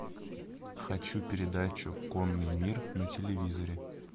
хочу передачу конный мир на телевизоре